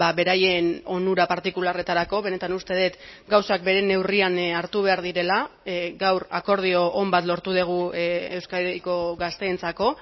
beraien onura partikularretarako benetan uste dut gauzak bere neurrian hartu behar direla gaur akordio on bat lortu dugu euskadiko gazteentzako